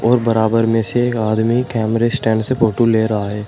और बराबर में से एक आदमी कैमरे स्टैंड से फोटो ले रहा है।